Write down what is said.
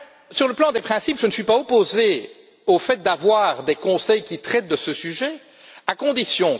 Sur le plan des principes, je ne suis pas opposé au fait d'avoir des conseils qui traitent de ce sujet, mais à certaines conditions.